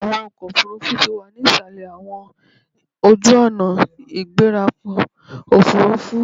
Awọn ọkọ ofurufu ti wa ni isalẹ awọn ojuonaigberaokoofurufu